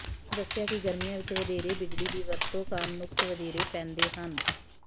ਉਨ੍ਹਾਂ ਦੱਸਿਆ ਕਿ ਗਰਮੀਆਂ ਵਿੱਚ ਵਧੇਰੇ ਬਿਜਲੀ ਦੀ ਵਰਤੋਂ ਕਾਰਨ ਨੁਕਸ ਵਧੇਰੇ ਪੈਂਦੇ ਹਨ